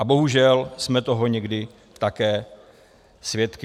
A bohužel jsme toho někdy také svědky.